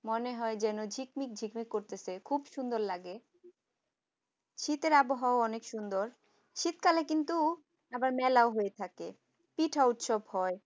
মনে হয় যেন ঝিকমিক ঝিকমিক করতেছে খুব সুন্দর লাগে শীতের আবহাওয়া অনেক সুন্দর শীতকালে কিন্তু আবার মেলা হয়ে থাকে পিঠা উৎসব হয়। মনে হয় যেন ঝিট্মিক ঝিকমিক করতেছে খুব সুন্দর লাগে শীতের আবহাওয়া অনেক সুন্দর শীতকালে কিন্তু আবার মেলা হয়ে থাকে পিঠা উৎসব হয়।